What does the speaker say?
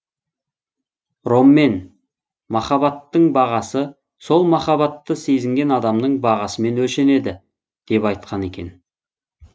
роммен махабаттың бағасы сол махаббатты сезінген адамның бағасымен өлшенеді деп айтқан екен